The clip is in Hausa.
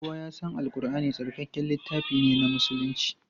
Kowa ya san Al Ƙurʼani tsarkakakken littafi ne na musulunci.